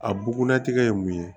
A bugulatigɛ ye mun ye